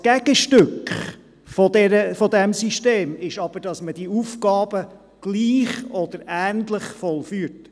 Gegenstück dieses Systems ist aber, dass man diese Aufgaben gleich oder ähnlich vollzieht.